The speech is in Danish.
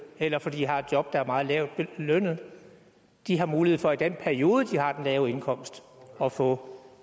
eller fordi de har et job der er meget lavt lønnet har mulighed for i den periode de har den lave indkomst at få